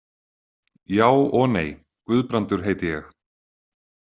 Já og nei, Guðbrandur heiti ég.